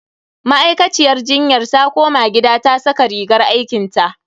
Ma'aikaciyar jinyar ta koma gida ta saka rigar aikinta.